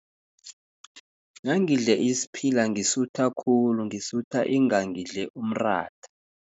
Nangidle isiphila, ngisutha khulu, ngisutha ingangidle umratha.